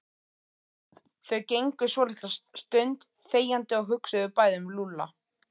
Þau gengu svolitla stund þegjandi og hugsuðu bæði um Lúlla.